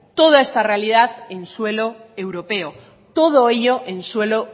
toda esta realidad en suelo europeo todo ello en suelo